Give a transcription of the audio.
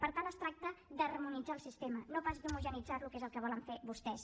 per tant es tracta d’harmonitzar el sistema no pas d’homogeneïtzar lo que és el que volen fer vostès